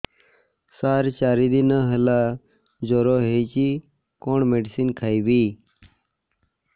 ସାର ଚାରି ଦିନ ହେଲା ଜ୍ଵର ହେଇଚି କଣ ମେଡିସିନ ଖାଇବି